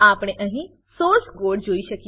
આપણે અહીં source code જોઈ શકીએ છીએ